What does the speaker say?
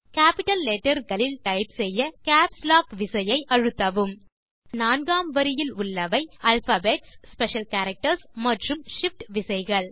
capital letterகளில் type செய்ய caps lock விசையை அழுத்தவும் விசைப்பலகையின் நான்காம் வரியில் உள்ளவை ஆல்பாபெட்ஸ் ஸ்பெஷல் கேரக்டர்ஸ் மற்றும் shift விசைகள்